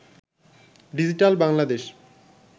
digital Bangladesh